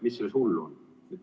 Mis selles hullu on?